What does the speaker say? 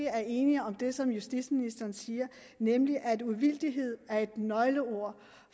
er enige om det som justitsministeren siger nemlig at uvildighed er et nøgleord